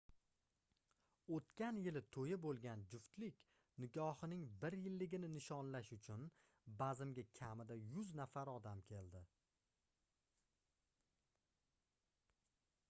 oʻtgan yili toʻyi boʻlgan juftlik nikohining bir yilligini nishonlash uchun bazmga kamida 100 nafar odam keldi